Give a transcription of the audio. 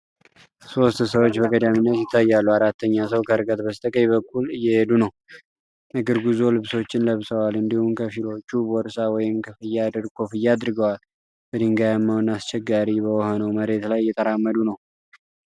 ሦስት ሰዎች በቀዳሚነት ይታያሉ አራተኛ ሰው ከርቀት በስተቀኝ በኩል እየህዱ ነው። የእግር ጉዞ ልብሶችን ለብሰዋል እንዲሁም ከፊሎቹ ቦርሳ ወይም ኮፍያ አድርገዋል። በድንጋያማው እና አስቸጋሪ በሆነው መሬት ላይ እየተራመዱ ነው።